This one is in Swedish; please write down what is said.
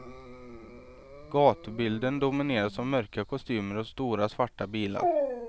Gatubilden domineras av mörka kostymer och stora svarta bilar.